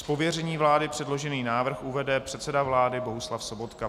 Z pověření vlády předložený návrh uvede předseda vlády Bohuslav Sobotka.